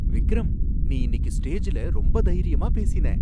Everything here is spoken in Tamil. விக்ரம்! நீ இன்னிக்கு ஸ்டேஜ்ல ரொம்ப தைரியமா பேசின!